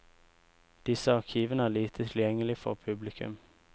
Disse arkivene er lite tilgjengelig for publikum.